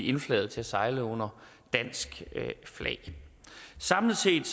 indflaget til at sejle under dansk flag samlet set